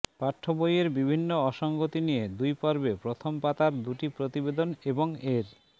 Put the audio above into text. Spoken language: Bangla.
পাঠ্যবইয়ের বিভিন্ন অসংগতি নিয়ে দুই পর্বে প্রথম পাতার দুটি প্রতিবেদন এবং এর